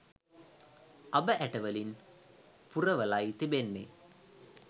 අබ ඇටවලින් පුරවලයි තිබෙන්නේ